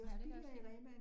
Ja, det kan også lige